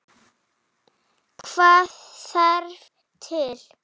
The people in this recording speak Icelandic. Hvað þarf til?